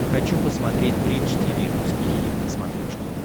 хочу посмотреть бридж тиви русский хит на смотрешке